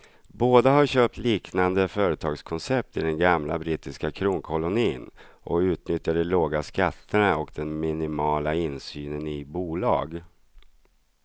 Båda har köpt liknande företagskoncept i den gamla brittiska kronkolonin och utnyttjar de låga skatterna och den minimala insynen i bolag.